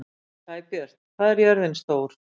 Sæbjört, hvað er jörðin stór?